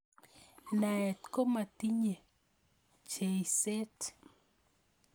naet komatinyei pcheisiet